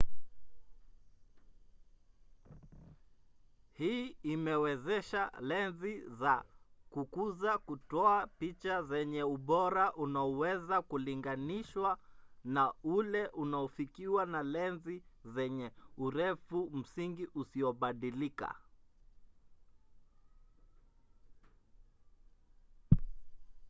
hii imewezesha lenzi za kukuza kutoa picha zenye ubora unaoweza kulinganishwa na ule unaofikiwa na lenzi zenye urefu msingi usiobadilika